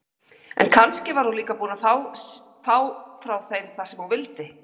En kannski var hún líka búin að fá frá þeim það sem hún vildi.